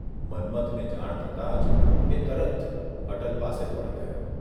મન્મથને જાણ થતાં જ એ તરત અટલ પાસે દોડી ગયો.